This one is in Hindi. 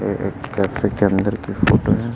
ये एक कैफे के अंदर भी फोटो हैं।